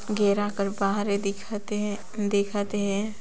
घेराकर बाहरे देखत आहाय दिखत हैं